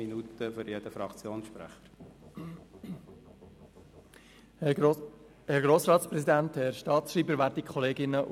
Den Fraktionssprechenden stehen je zwei Minuten Redezeit zu.